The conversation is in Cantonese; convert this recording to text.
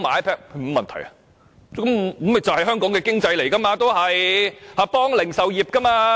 這也是刺激香港經濟，協助零售業。